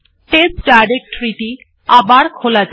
test directory টি পুনরায় খোলা যাক